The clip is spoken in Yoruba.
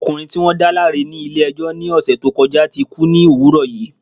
Ọmọkùnrin ti wọ́n dáláre ní Ilé ẹjọ́ ni òsè tó kọjá ti kú ni òwúrọ̀ yi